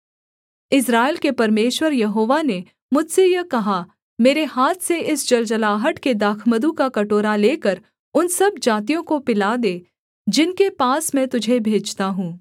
इस्राएल के परमेश्वर यहोवा ने मुझसे यह कहा मेरे हाथ से इस जलजलाहट के दाखमधु का कटोरा लेकर उन सब जातियों को पिला दे जिनके पास मैं तुझे भेजता हूँ